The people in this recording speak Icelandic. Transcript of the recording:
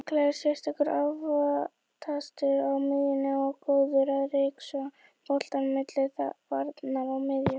Hrikalega sterkur aftast á miðjunni og góður að ryksuga bolta milli varnar og miðju.